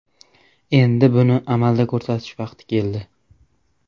Endi buni amalda ko‘rsatish vaqti keldi.